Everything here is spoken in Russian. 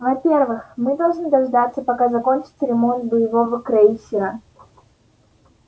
во-первых мы должны дождаться пока закончится ремонт боевого крейсера